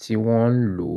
tí wọ́n ń lò.